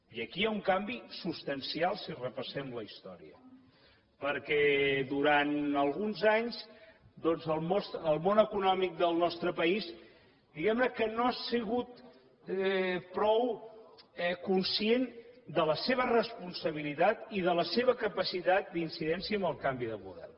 i aquí hi ha un canvi substancial si repassem la història perquè durant alguns anys doncs el món econòmic del nostre país diguem ne que no ha sigut prou conscient de la seva responsabilitat i de la seva capacitat d’incidència en el canvi de model